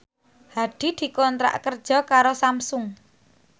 Hadi dikontrak kerja karo Samsung